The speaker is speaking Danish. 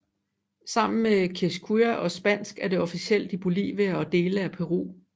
Sammen med quechua og spansk er det officielt i Bolivia og dele af Peru